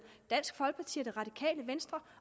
dansk folkeparti og det radikale venstre